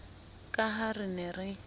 ka ha re ne re